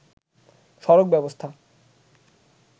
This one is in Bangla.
সড়ক ব্যবস্থা